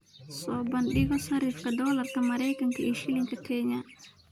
soo bandhigo sarifka doolarka Maraykanka iyo shilinka Kenya